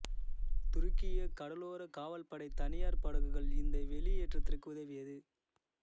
துருக்கிய கடலோர காவல்படை தனியார் படகுகள் இந்த வெளியேற்றத்திற்கு உதவியது